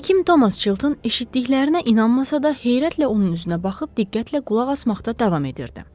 Həkim Thomas Chilton eşitdiklərinə inanmasa da, heyrətlə onun üzünə baxıb diqqətlə qulaq asmaqda davam edirdi.